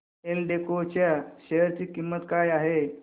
एल्डेको च्या शेअर ची किंमत काय आहे